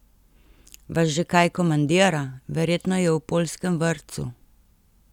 Vas že kaj komandira, verjetno je v poljskem vrtcu?